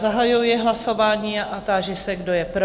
Zahajuji hlasování a ptám se, kdo je pro?